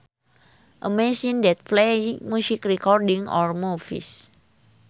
A machine that plays music recordings or movies